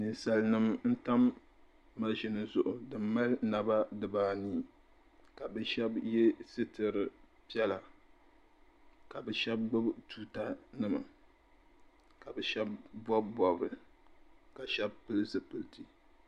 Ninsalinima n-tam maʒini zuɣu din mali naba dibaanii ka bɛ shɛba ye sitiri piɛla ka bɛ shɛba gbubi tuutanima ka bɛ shɛba bɔbi bɔbiri ka shɛba pili zipiliti '